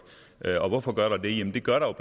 og hvorfor gør der det jamen det gør der